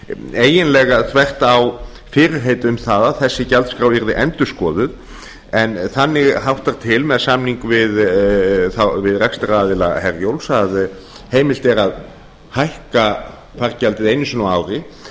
eiginlega þvert á fyrirheit um það að þessi gjaldskrá yrði endurskoðun en þannig háttar til með samning við rekstraraðila herjólfs að heimilt er að hækka fargjaldið einu sinni á ári